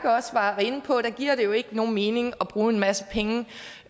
også var inde på giver det jo ikke nogen mening at bruge en masse penge på